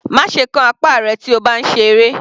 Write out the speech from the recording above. Má ṣe kán apá rẹ̀ tí o bá ń ṣe eré.